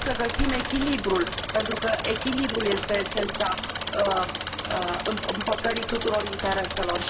Haideți să găsim echilibrul, pentru că echilibrul este esența împăcării tuturor intereselor